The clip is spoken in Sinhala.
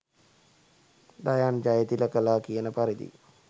දයාන් ජයතිලකලා කියන පරිදි